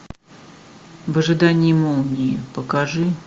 в ожидании молнии покажи